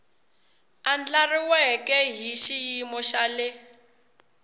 andlariweke hi xiyimo xa le